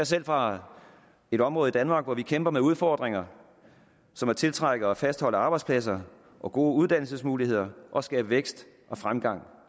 selv fra et område i danmark hvor vi kæmper med udfordringer som at tiltrække og fastholde arbejdspladser og gode uddannelsesmuligheder og skabe vækst og fremgang